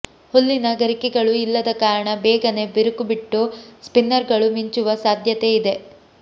ಹುಲ್ಲಿನ ಗರಿಕೆಗಳು ಇಲ್ಲದ ಕಾರಣ ಬೇಗನೆ ಬಿರುಕು ಬಿಟ್ಟು ಸ್ಪಿನ್ನರ್ಗಳು ಮಿಂಚುವ ಸಾಧ್ಯತೆ ಇದೆ